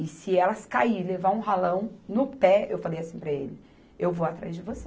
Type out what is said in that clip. E se elas caírem, levar um ralão no pé, eu falei assim para ele, eu vou atrás de você.